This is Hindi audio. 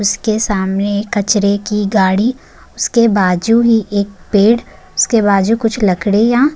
उसके सामने कचरे की गाड़ी उसके बाजू ही एक पेड़ उस के बाजू कुछ लकडिया --